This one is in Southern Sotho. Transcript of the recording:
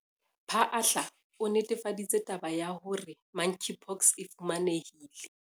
Phaahla, o netefaditse taba ya hore Monkeypox e fumanehile